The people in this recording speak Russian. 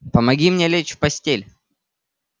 помоги мне лечь в постель